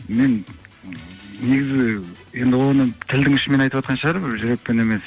мен негізі енді оны тілдің ұшымен айтып жатқан шығар жүрекпен емес